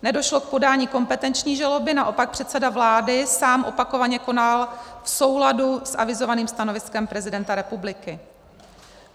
Nedošlo k podání kompetenční žaloby, naopak předseda vlády sám opakovaně konal v souladu s avizovaným stanoviskem prezidenta republiky.